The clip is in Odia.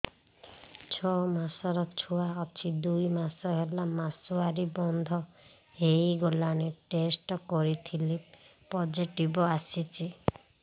ଛଅ ମାସର ଛୁଆ ଅଛି ଦୁଇ ମାସ ହେଲା ମାସୁଆରି ବନ୍ଦ ହେଇଗଲାଣି ଟେଷ୍ଟ କରିଥିଲି ପୋଜିଟିଭ ଆସିଛି